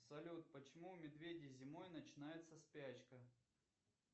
салют почему у медведей зимой начинается спячка